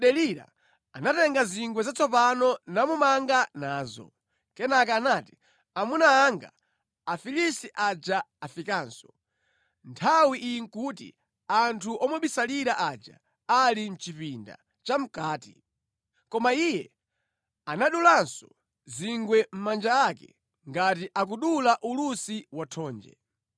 Choncho Delila anatenga zingwe zatsopano namumanga nazo. Kenaka anati “Amuna anga, Afilisti aja afikanso!” Nthawi iyi nʼkuti anthu omubisalira aja ali mʼchipinda chamʼkati. Koma iye anadulanso zingwe mʼmanja ake ngati akudula ulusi wa thonje.